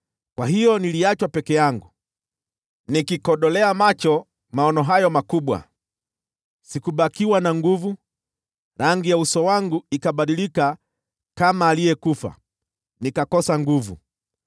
Kwa hiyo niliachwa peke yangu, nikikodolea macho maono hayo makubwa; sikubakiwa na nguvu, na rangi ya uso wangu ikabadilika kama aliyekufa, nikakosa nguvu.